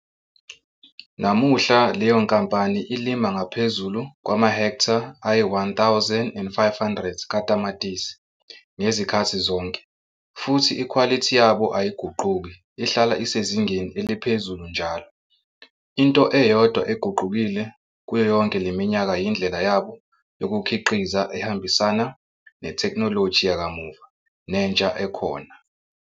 Namuhla, leyo nkampane ilima ngaphezulu kwamahektha ayi-1 500 katamatisi ngezikhathi zonke futhi ikhwalithi yabo ayiguquka ihlala isezingeni eliphezulu njalo. Into eyodwa eguqukile kubo yonke le mimyka yindlela yabo yolukhiqiza ehambisana nethekhnoloji yekamuva nentsha ekhona.